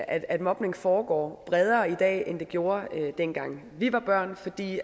at at mobning foregår bredere i dag end det gjorde dengang vi var børn fordi